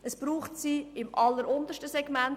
Es braucht sie im alleruntersten Segment.